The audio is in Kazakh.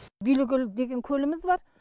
билікөл деген көліміз бар